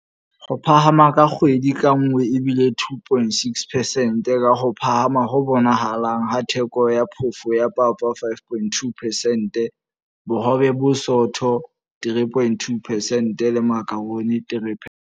Ho phahama ha kgwedi ka nngwe e bile 2.6 percent, ka ho phahama ho bonahalang ha theko ya phofo ya papa 5.2 percent, bohobe bo bosootho 3.2 percent le makharoni 3.